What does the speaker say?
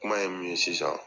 Kuma ye min ye sisan